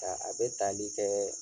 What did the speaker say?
Ta a bɛ taali kɛɛ